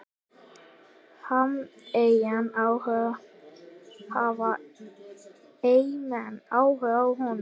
Hafa Eyjamenn áhuga á honum?